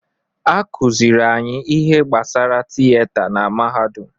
Akụziri anyị ihe gbasara tiyeta na-mahadum.